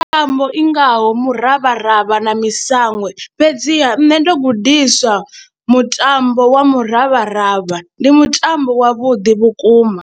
Mitambo i ngaho muravharavha na masango, fhedziha nṋe ndo gudiswa mutambo wa muravharavha, ndi mutambo wavhuḓi vhukuma.